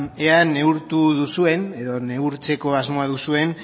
ea neurtu duzuen edo neurtzeko asmoa duzuen